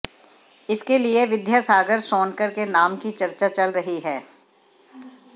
इसके लिए विद्यासागर सोनकर के नाम की चर्चा चल रही है